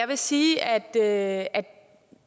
vil sige at